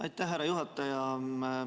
Aitäh, härra juhataja!